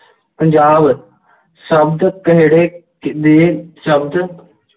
ਪੰਜਾਬ ਸ਼ਬਦ ਕਿਹੜੇ ਦੇ ਸ਼ਬਦ